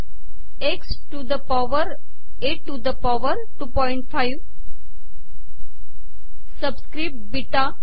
x to the power a to the power two point five subscript ही देऊ शकतो